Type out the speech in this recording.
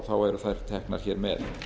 eru þær teknar hér með